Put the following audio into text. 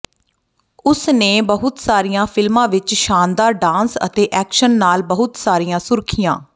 ਉਸਨੇ ਬਹੁਤ ਸਾਰੀਆਂ ਫਿਲਮਾਂ ਵਿੱਚ ਸ਼ਾਨਦਾਰ ਡਾਂਸ ਅਤੇ ਐਕਸ਼ਨ ਨਾਲ ਬਹੁਤ ਸਾਰੀਆਂ ਸੁਰਖੀਆਂ